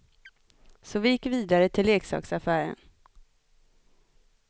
Så vi gick vidare till leksaksaffären.